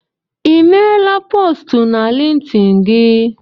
Ị meela postu na Lintin gị?